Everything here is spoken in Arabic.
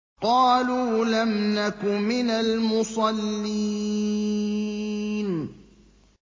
قَالُوا لَمْ نَكُ مِنَ الْمُصَلِّينَ